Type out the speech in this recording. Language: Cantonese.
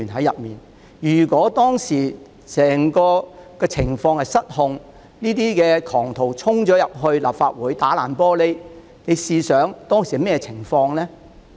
如果當時情況失控，這些狂徒打破玻璃衝進立法會，大家試想象會發生甚麼情況呢？